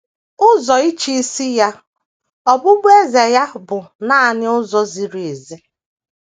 Ụzọ ịchịisi ya, ọbụbụeze ya, bụ nanị ụzọ ziri ezi.